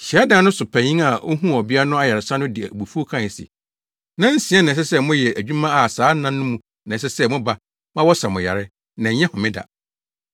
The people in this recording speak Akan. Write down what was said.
Hyiadan no so panyin a ohuu ɔbea no ayaresa no de abufuw kae se, “Nnansia na ɛsɛ sɛ mode yɛ adwuma a saa nna no mu na ɛsɛ sɛ moba ma wɔsa mo yare, na ɛnyɛ homeda.”